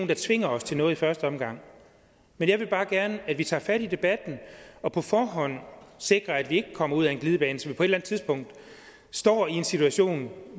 der tvinger os til noget i første omgang men jeg vil bare gerne at vi tager fat i debatten og på forhånd sikrer at vi ikke kommer ud ad en glidebane så vi på et eller andet tidspunkt står i en situation